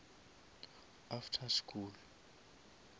after school